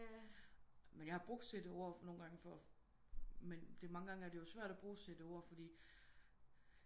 Men jeg har brugt CD-ORD nogle gange for men mange gange er det jo svært at bruge CD-ORD fordi